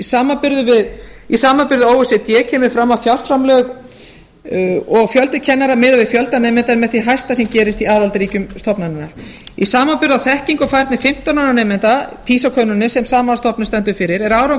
samanburði o e c d kemur fram að fjárframlög og fjöldi kennara miðað við fjölda nemenda er með því hæsta sem gerist í aðildarríkjum stofnunarinnar í samanburði á þekkingu á færni fimmtán ára nemenda pisa könnuninni sem sama stofnun stendur fyrir er árangur